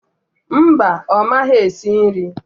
Mba, ọ maghị esi nri